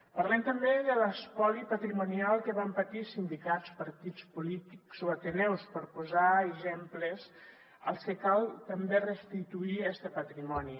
parlem també de l’espoli patrimonial que van patir sindicats partits polítics o ateneus per posar exemples als que cal també restituir este patrimoni